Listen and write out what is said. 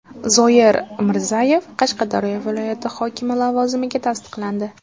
Zoir Mirzayev Qashqadaryo viloyati hokimi lavozimiga tasdiqlandi.